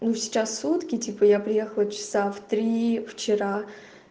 ну сейчас сутки типа я приехала часа в три вчера